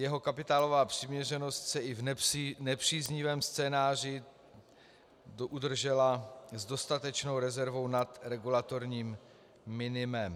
Jeho kapitálová přiměřenost se i v nepříznivém scénáři udržela s dostatečnou rezervou nad regulatorním minimem.